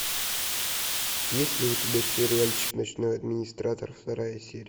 есть ли у тебя сериальчик ночной администратор вторая серия